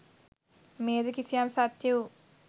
මෙය ද කිසියම් සත්‍ය වූ